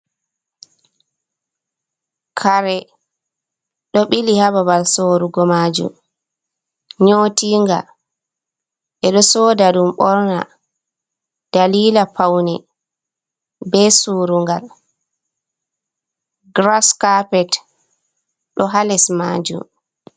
Kare ɗo bili hababal sorugo majum nyotinga edo soda dum borna dalila paune be surungal gras kapet do hales majum.